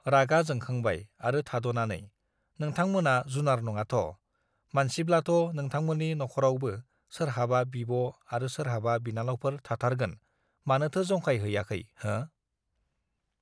रागा जोंखांबाय आरो थादनानै नोंथां मोना जुनार नङाथ मानसिब्लाथ नोंथांमोननि नखरावबो सोरहाबा बिब आरो सोरहाबा बिनानावफोर थाथारगोन मानोथो जंखाय हैयाखै हो